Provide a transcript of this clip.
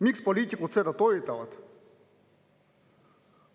Miks poliitikud seda toetavad?